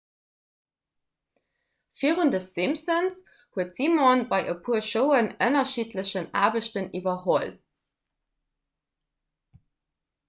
virun the simpsons huet simon bei e puer showen ënnerschiddlech aarbechten iwwerholl